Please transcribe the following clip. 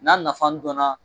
N'a nafa dɔnna